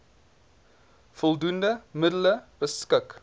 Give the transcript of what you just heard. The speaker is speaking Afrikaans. voldoende middele beskik